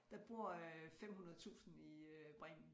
Der bor øh 500 tusind i øh Bremen